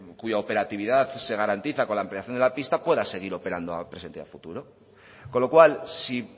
cuya operatividad se garantiza con la ampliación de la pista pueda seguir operando a presente y a futuro con lo cual si